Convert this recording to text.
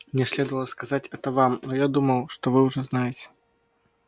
мне следовало сказать это вам но я думал что вы уже знаете